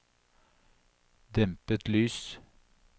dempet lys